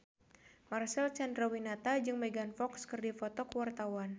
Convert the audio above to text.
Marcel Chandrawinata jeung Megan Fox keur dipoto ku wartawan